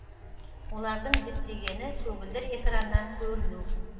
олардың діттегені көгілдір экраннан көріну